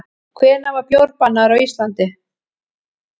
Hvenær var bjór bannaður á Íslandi?